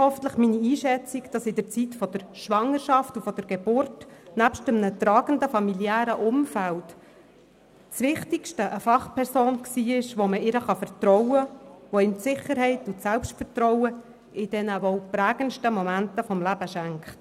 Und hoffentlich teilen Sie meine Einschätzung, dass in der Zeit der Schwangerschaft und der Geburt nebst einem tragenden familiären Umfeld eine Fachperson das Wichtigste ist – eine Fachperson, der man vertrauen kann, die einem in diesen wohl prägendsten Momenten des Lebens Sicherheit und Selbstvertrauen schenkt.